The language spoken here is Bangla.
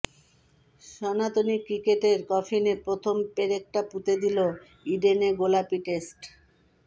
সনাতনী ক্রিকেটের কফিনে প্রথম পেরেকটা পুঁতে দিল ইডেনে গোলাপি টেস্ট